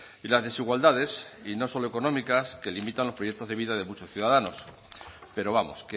y las desigualdades y no solo económicas que limitan los proyectos de vida de muchos ciudadanos pero vamos